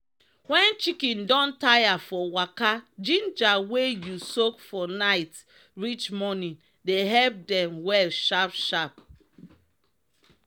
wen sheep don tire for waka ginger wey u soak for nite reach monin dey epp dem well sharp sharp.